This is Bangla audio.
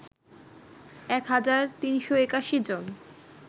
১ হাজার ৩৮১ জন